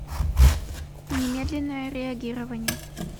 немедленное реагирование